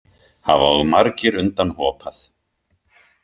Hafa og margir undan hopað.